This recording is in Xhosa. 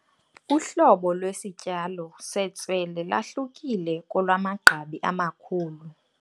Uhlobo lwesityalo sestswele lwahlukile kolwamagqabi amakhulu.